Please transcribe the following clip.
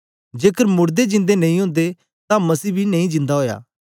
जेकर मोड़दे जिंदे नेई ओदे तां मसीह बी नेई जिंदा ओया